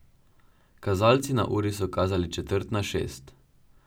Kazalci na uri so kazali četrt na šest.